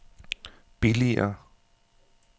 billigere